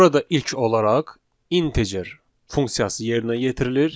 Burada ilk olaraq integer funksiyası yerinə yetirilir.